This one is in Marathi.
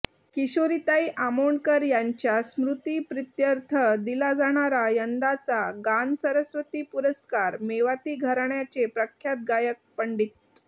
किशोरीताई आमोणकर यांच्या स्मृतीप्रित्यर्थ दिला जाणारा यंदाचा गानसरस्वती पुरस्कार मेवाती घराण्याचे प्रख्यात गायक पं